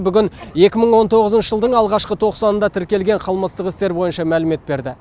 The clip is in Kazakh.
бүгін екі мың он тоғызыншы жылдың алғашқы тоқсанында тіркелген қылмыстық істер бойынша мәлімет берді